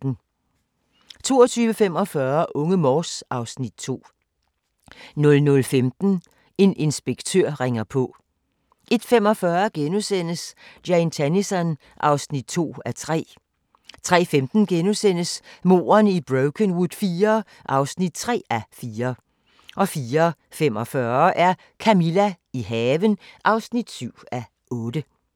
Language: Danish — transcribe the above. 22:45: Unge Morse (Afs. 2) 00:15: En inspektør ringer på 01:45: Jane Tennison (2:3)* 03:15: Mordene i Brokenwood IV (3:4)* 04:45: Camilla – i haven (7:8)